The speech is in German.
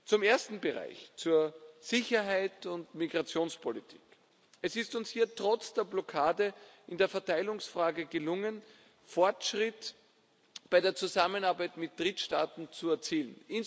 Zum ersten Bereich, zur Sicherheit und Migrationspolitik Es ist uns hier trotz der Blockade in der Verteilungsfrage gelungen, einen Fortschritt bei der Zusammenarbeit mit Drittstaaten zu erzielen.